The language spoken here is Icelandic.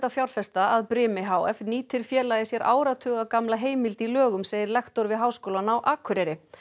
fjárfesta að brimi h f nýtir félagið sér áratuga gamla heimild í lögum segir lektor við Háskólann á Akureyri